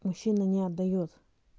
мужчина не отдаёт